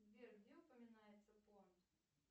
сбер где упоминается понт